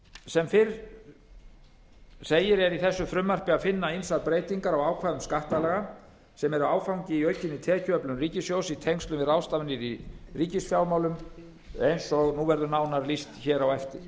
sem fyrr segir er í þessu frumvarpi að finna ýmsar breytingar á ákvæðum skattalaga sem er áfangi í aukinni tekjuöflun ríkissjóðs í tengslum við ráðstafanir í ríkisfjármálum eins og nú verður nánar lýst hér á eftir